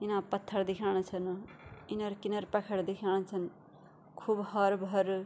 इना पत्थर दिखेणा छन किनारा-किनारा पहाड़ दिखेणा छन खूब हरु-भारू।